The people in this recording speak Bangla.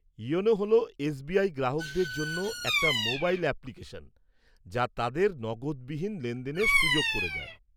ইয়োনো হল এসবিআই গ্রাহকদের জন্য একটা মোবাইল অ্যাপ্লিকেশন, যা তাদের নগদবিহীন লেনদেনের সুযোগ করে দেয়।